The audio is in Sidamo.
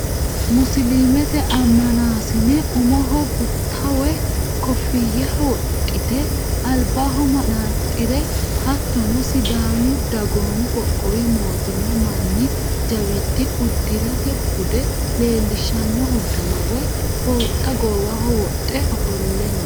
Musiliimete ammanaasine umoho gutta woy koofiyya wodhite albaho manaxxire hattonni sidaamu dagoomi qoqqowi mootimma manni jawiidi uddirate bude leellishshanno uddanna woyi fooxxa goowa wodhe ofolle no.